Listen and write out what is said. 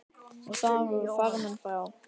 Og þar voru farmenn frá